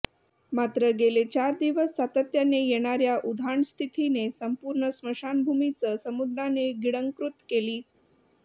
मात्र गेले चार दिवस सातत्याने येणार्या उधाण स्थितीने संपूर्ण स्मशानभूमीच समुद्राने गिळंकृत केली